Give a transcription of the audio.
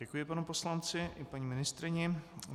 Děkuji panu poslanci i paní ministryni.